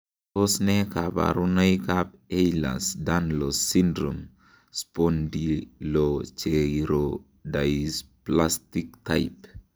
Tos nee koborunoikab Ehlers Danlos syndrome, spondylocheirodysplastic type ?